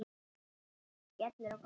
Skellur á gólfið.